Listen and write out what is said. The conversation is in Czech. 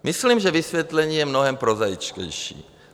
Myslím, že vysvětlení je mnohem prozaičtější.